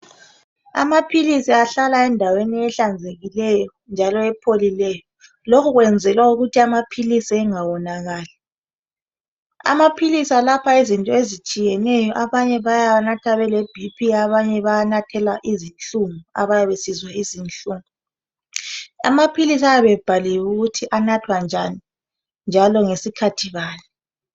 amaphilisi ahlala endaweni ehlanzekileyo njalo ephlileyo loku kuyenzelwa ukuthi engawonakali amaphilisi ayelapha izinto ezitshiyeneyo abanye bayawanatha bele BP abanye bewanathela izinhlngu besizwa izinhungu amaphilisi ayabe ebhaliwe ukuthi anathwa njani njalo asebenza njani